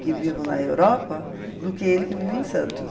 que vive na Europa, do que ele que vive em Santos.